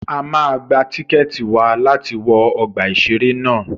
A máa gba tíkẹ̀tì wa láti wọ ọgbà ìṣẹ̀rẹ́ ná.